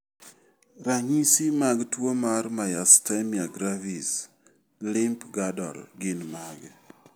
Ranyisi mag tuwo mar Myasthenia gravis, limb girdle gin mage?